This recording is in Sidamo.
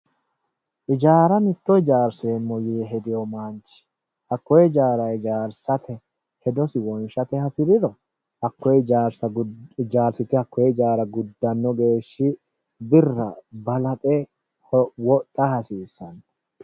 Hijaara mitto hijaarseemmo yee hedino manchi hakkoe hijaara hijaarsate hedosi wonshate hasiriro hakkoe hijaara hijaarsite guddano geeshsha birra balaxe wodha hasiisano.